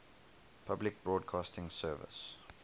public broadcasting service